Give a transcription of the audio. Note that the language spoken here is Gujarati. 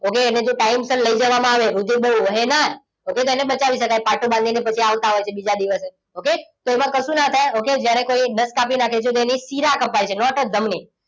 okay તો એને ટાઇમસર લઈ જવામાં આવે પછી તેને બચાવી શકાય પાટો બાંધીને આવતા હોય છે પછી બીજા દિવસે okay. તો એમાં કશું ના થાય જ્યારે કોઈ નસ કાપી નાખે ત્યારે શીરા કપાય છે ના તો ધમની.